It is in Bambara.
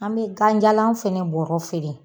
An be ganjalan fɛnɛ bɔrɔ feere.